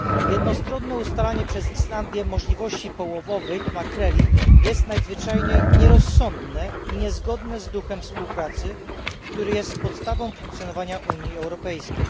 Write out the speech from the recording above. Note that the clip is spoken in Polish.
Jednostronne ustalanie przez Islandię możliwości połowowych makreli jest nadzwyczajnie nierozsądne i niezgodne z duchem współpracy, który jest podstawą funkcjonowania Unii Europejskiej.